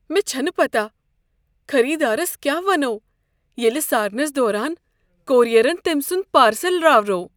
مےٚ چھنہٕ پتہ خریدارس كیاہ ونو ییٚلہِ سارنس دوران كوریرن تمۍ سنٛد پارسل راوروو ۔